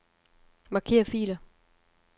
Marker filer.